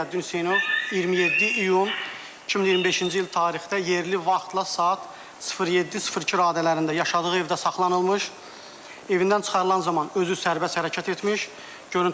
Ziyəddin Hüseynov 27 iyun 2025-ci il tarixdə yerli vaxtla saat 07:02 radələrində yaşadığı evdə saxlanılmış, evindən çıxarılan zaman özü sərbəst hərəkət etmiş.